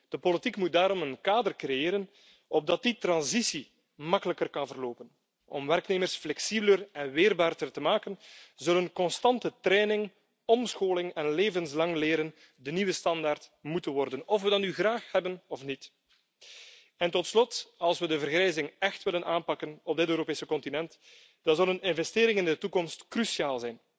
De politiek moet daarom een kader creëren opdat die transitie makkelijker kan verlopen. Om werknemers flexibeler en weerbaarder te maken, zullen constante training, omscholing en levenslang leren de nieuwe standaard moeten worden, of we dat nu willen of niet. Tot slot, als we de vergrijzing echt willen aanpakken op dit Europese continent, dan zijn investeringen in de toekomst cruciaal,